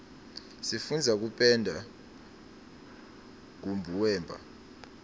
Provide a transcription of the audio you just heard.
sifundza kupenda nkubuweba